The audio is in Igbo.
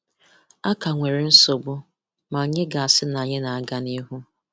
A ka nwere nsogbu, ma anyị ga-asị na anyị na-aga n’ihu.